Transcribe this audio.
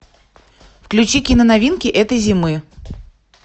включи кино новинки этой зимы